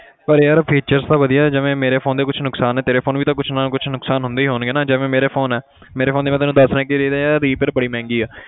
ਪਰ ਯਾਰ features ਤਾਂ ਵਧੀਆ ਜਿਵੇਂ ਮੇਰੇ phone ਦੇ ਕੁਛ ਨੁਕਸਾਨ ਹੈ ਤੇਰੇ phone ਵੀ ਤਾਂ ਕੁਛ ਨਾ ਕੁਛ ਨੁਕਸਾਨ ਹੁੰਦੇ ਹੀ ਹੋਣਗੇ ਨਾ ਜਿਵੇਂ ਮੇਰੇ phone ਹੈ ਮੇਰੇ phone ਦੇ ਮੈਂ ਤੈਨੂੰ ਦੱਸ ਰਿਹਾਂ ਕਿ ਇਹਦੇ ਤੇ ਯਾਰ repair ਬੜੀ ਮਹਿੰਗੀ ਹੈ।